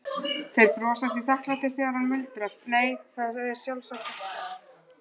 Þeir brosa því þakklátir þegar hann muldrar, nei, það er sjálfsagt ekkert.